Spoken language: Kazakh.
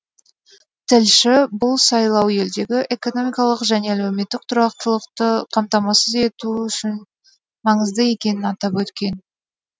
тілші бұл сайлау елдегі экономикалық және әлеуметтік тұрақтылықты қамтамасыз ету үшін маңызды екенін атап өткен